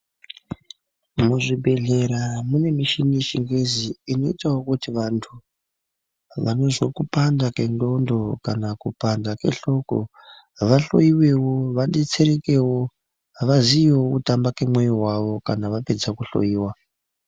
Muzvibhedhlera mune mishini yechingezi inoitawo kuti vantu vanozwe kupanda kwendxondo kana kupanda kwehloko vahloiwewo vadetserekewo vaziyewo kutamba kemwoyo wavo kana vapedza kuhloiwa.